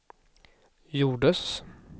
gjordes